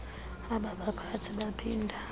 aba baphathi baphinda